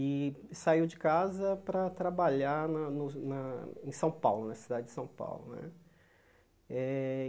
e saiu de casa para trabalhar na no na em São Paulo, na cidade de São Paulo né. Eh